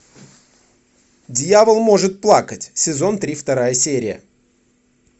дьявол может плакать сезон три вторая серия